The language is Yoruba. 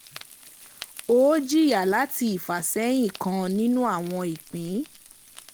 Ó jìyà láti ifàsẹ́yìn kan nínú àwọn ìpín.